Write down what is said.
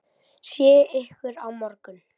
Sé ykkur á morgun.